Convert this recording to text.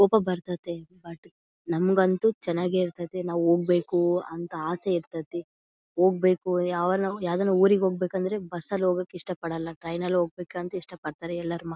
ಕೋಪ ಬರ್ ತತ್ತೆ ಬಟ್ ನಮ್ಮಗೊಂತು ಚನ್ನಾಗಿ ಇರತತ್ತೆ ನಾವು ಹೋಗಬೇಕು ಅಂತ ಆಸೆ ಇರತತ್ತಿ ಹೋಗಬೇಕು ಯಾವದನ್ನ ಊರಿಗೆ ಹೋಗಬೇಕಂದ್ರೆ ಬಸ್ ಅಲ್ಲಿ ಹೋಗಕ್ಕೆ ಇಷ್ಟಪಡಲ್ಲಾ ಟ್ರೈನ್ನಲ್ಲಿ ಹೋಗಬೇಕಂತ ಇಷ್ಟ ಪಡತ್ತರೆ ಎಲ್ಲಾರು ಮಕ್ಕಳು .